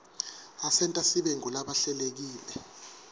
asenta sibe ngulabahlelekile